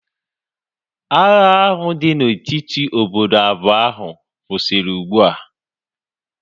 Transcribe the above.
Agha ahu dị na etiti obodo abụọ ahu kwụsịrị ugbua